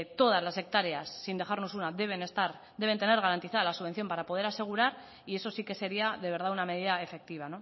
todas las hectáreas sin dejarnos una deben estar deben tener garantizada la subvención para poder asegurar y eso sí que sería de verdad una medida efectiva